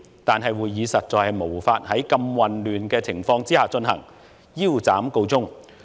但會議實在無法在如此混亂的情況下進行，腰斬告終。